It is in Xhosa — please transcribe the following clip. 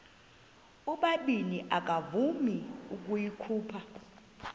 ubabini akavuma ukuyikhupha